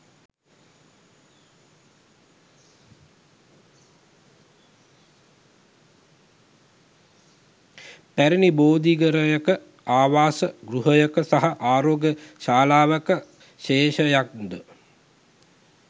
පැරැණි බෝධිඝරයක, ආවාස, ගෘහයක සහ ආරෝග්‍ය ශාලාවක ශේෂයන්ද